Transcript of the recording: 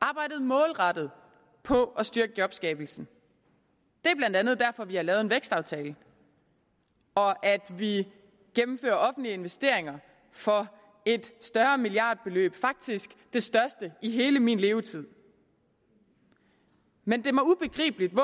arbejdet målrettet på at styrke jobskabelsen det er blandt andet derfor vi har lavet en vækstaftale og at vi gennemfører offentlige investeringer for et større milliardbeløb faktisk det største i hele min levetid men det